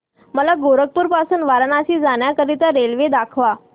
मला गोरखपुर पासून वाराणसी जाण्या करीता रेल्वे दाखवा